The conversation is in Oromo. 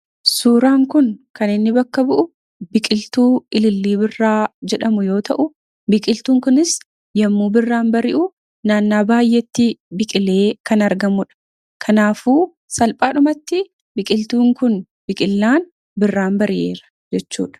Suuraan kun kan inni bakka bu'u biqiltuu ilillii birraa jedhamu yoo ta'u, biqiltuun kun yommuu birraan bari'u naannaa baay'eetti biqilee kan argamudha. Kanaafuu, salphaadhumatti biqiltuun kun biqillaan birraan bari'eera jechuudha.